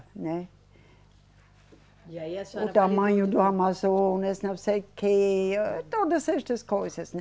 Né. E aí a senhora. O tamanho do Amazonas, não sei o quê, todas estas coisas, né